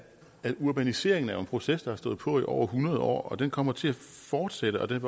at urbanisering er en proces der har stået på i over hundrede år og den kommer til at fortsætte og den